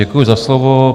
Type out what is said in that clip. Děkuji za slovo.